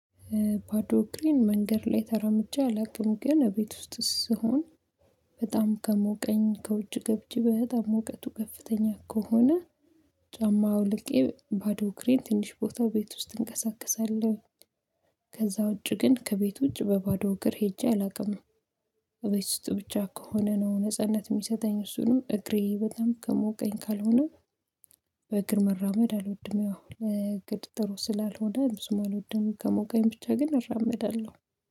ባዶ አግሬን መንገድ ላይ ተራምጄ አላውቅም ግን ቤት ውስጥ ስሆን በጣም ከሞቀኝ ከውጭ ገብቼ በጣም ሙቀቱ ከፍተኛ ከሆነ ጫማ አውልቄ ባዶ እግሬን ትንሽ ቦታ ቤት ውስጥ እንቀሳቀሳለሁ። ከዛ ውጪ ግን ከቤት ውጪ በባዶ እግር ሄጄ አላውቅም። እቤት ውስጥ ብቻ ከሆነ ነው ነጻነት የሚሰጠኝ እሱንም እግሬ በጣም ከሞቀኝ ካልሆነ በእግር መራመድ አልወድም። አሁን ግን ጥሩ ስላልሆነ ብዙም አልወድም ከሞቀኝ ብቻ ግን እራመዳለሁ